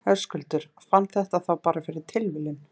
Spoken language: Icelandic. Höskuldur: Fann þetta þá bara fyrir tilviljun?